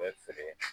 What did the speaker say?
Bɛ feere